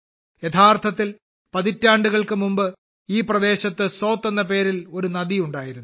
യഥാർത്ഥത്തിൽ പതിറ്റാണ്ടുകൾക്ക് മുമ്പ് ഈ പ്രദേശത്ത് സോത് എന്ന പേരിൽ ഒരു നദി ഉണ്ടായിരുന്നു